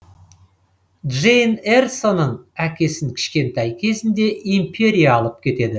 джейн эрсоның әкесін кішкентай кезінде империя алып кетеді